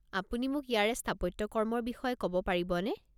আপুনি মোক ইয়াৰে স্থাপত্যকৰ্মৰ বিষয়ে ক'ব পাৰিবনে?